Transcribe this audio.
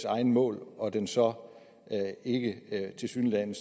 egne mål og den så ikke tilsyneladende